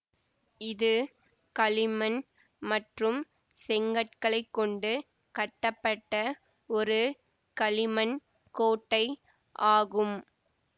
இது களிமண் மற்றும் செங்கற்களைக்கொண்டு கட்டப்பட்ட ஒரு களிமண் கோட்டை ஆகும்